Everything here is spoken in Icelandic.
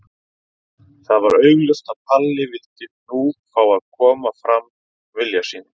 Það var augljóst að Palli vildi nú fá að koma fram vilja sínum.